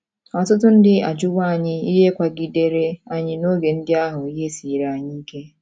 Ọtụtụ ndị ajụwo anyị ihe kwagidere anyị n’oge ndị ahụ ihe siiri anyị ike.